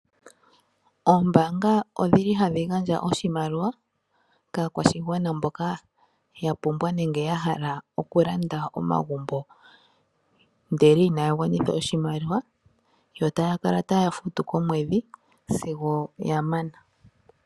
Oombaanga odhili hadhi gandja oshimaliwa kaakwashigwana mboka ya pumbwa nenge ya hala okulanda omagumbo ndele inaya gwanitha oshimaliwa yo taya kala ta ya futu komwedhi sigo ya mana.